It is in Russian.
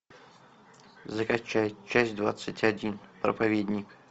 закачай часть двадцать один проповедник